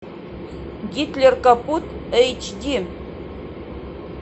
гитлер капут эйч ди